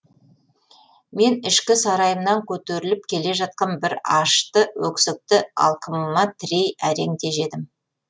мен ішкі сарайымнан көтеріліп келе жатқан бір ашты өксікті алқымыма тірей әрең тежедім